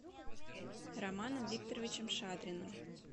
романом викторовичем шадриным